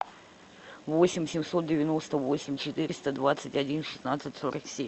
восемь семьсот девяносто восемь четыреста двадцать один шестнадцать сорок семь